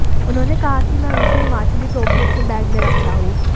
उन्होंने कहा कि मैं हमेशा हिमाचली टोपी अपने बैग में रखता हूं